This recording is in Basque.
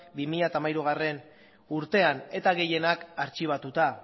bi mila hamairugarrena urtean eta gehienak artxibatuta